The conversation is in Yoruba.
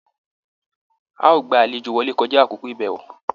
A o gbà àlejò wọlé kọja àkókò ibẹwo!